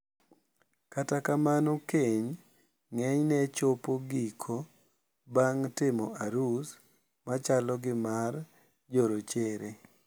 Kata kamano keny ng`enyne chopo giko bang` timo arus machalo gi mar jorochere.